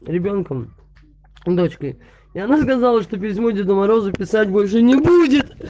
ребёнком дочкой и она сказала что письмо деду морозу писать больше не будет